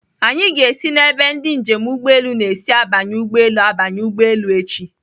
Anyị ga-esi n'ebe ndị njem ụgbọelu na-esi abanye ụgbọelu abanye ụgbọelu echi.